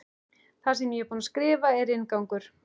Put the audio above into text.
Það sem ég er búin að skrifa er inngangur.